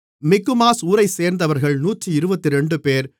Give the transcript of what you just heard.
மிக்மாஸ் ஊரைச்சேர்ந்தவர்கள் 122 பேர்